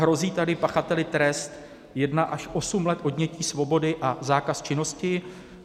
Hrozí tady pachateli trest 1 až 8 let odnětí svobody a zákaz činnosti.